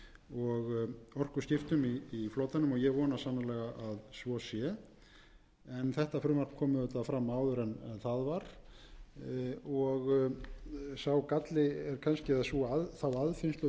og orkuskiptum í flotanum og ég vona sannarlega að svo sé en þetta frumvarp kom auðvitað fram áður en það var en sá galli eða þá aðfinnslu verður auðvitað að setja fram um leið og vongleðin lýsir